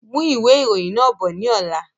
Mú ìwé ìròyìn náà bọ̀ ni ọ̀la!